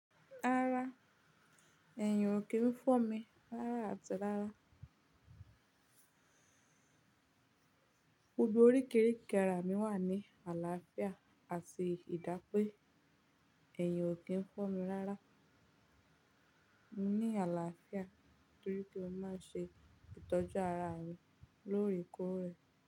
Rárá, ẹ̀yìn ò kí ń fọ́ mi rárá àti rárá. Gbogbo oríkerike ara mi wà ní àlàáfíà àti ìdápé. Ẹ̀yìn ò kí ń fọ́ mi rárá. Ni àlàáfíà torí pé o má ṣe ìtọ́jú ara rẹ lórí ikó rẹ.